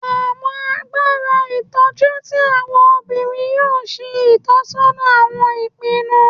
Awọn agbara itọju ti awọn obinrin yoo ṣe itọsọna awọn ipinnu